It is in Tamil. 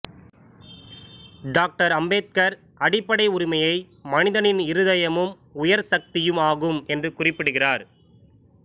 டாக்டர் அம்பேத்கர் அடிப்படை உரிமையை மனிதனின் இருதயமும் உயர்சக்தியும் ஆகும் என்று குறிப்பிடுகிறார்